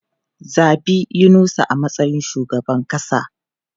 Zabi Yunusa a matsayin shugaban kasa!